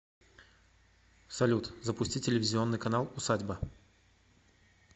салют запусти телевизионный канал усадьба